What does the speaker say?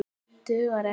Dugar ekki!